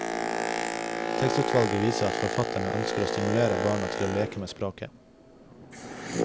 Tekstutvalget viser at forfatterne ønsker å stimulere barna til å leke med språket.